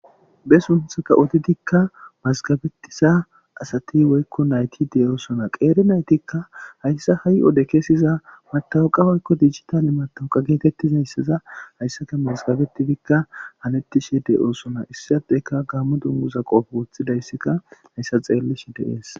be sunthaka odidikka mazgabettisa asati woykko nayti deyosona qeeri naytikka hayssa ha'i ode keesiza matawuqa woykko dijitale matawoqa geetettizayssaza hayssaka mazgabetifikka halettishe de7oosona issadeyka gammo dunguza qoofo woththidayssika hayssa xeellish deees.